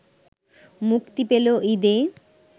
মুক্তি পেল ঈদে